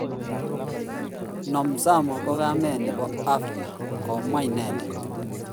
Nomzamo ko kamet nepo africa. Komwa inendet.